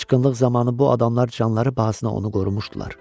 Qaşqınlıq zamanı bu adamlar canları bahasına onu qorumuşdular.